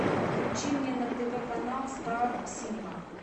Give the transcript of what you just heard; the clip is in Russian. включи мне на тв канал стар синема